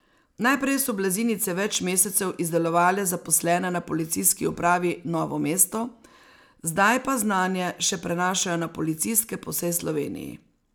Najprej so blazinice več mesecev izdelovale zaposlene na Policijski upravi Novo mesto, zdaj pa znanje še prenašajo na policistke po vsej Sloveniji.